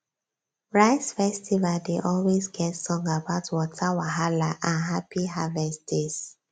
rice festival dey always get song about water wahala and happy harvest days